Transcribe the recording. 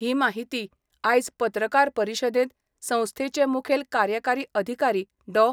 ही माहिती आयज पत्रकार परिशदेंत संस्थेचे मुखेल कार्यकारी अधिकारी डॉ.